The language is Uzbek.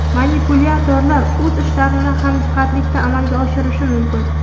Manipulyatorlar o‘z ishlarini hamjihatlikda amalga oshirishi mumkin.